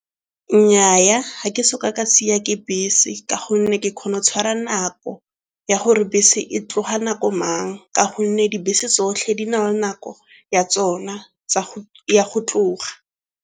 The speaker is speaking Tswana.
Nnyaa, ga ke soka ka siwa ke bese ka gonne ke kgona go tshwara nako ya gore bese e tloga nako mang ka gonne dibese tsotlhe di na le nako ya tsona ya go tloga.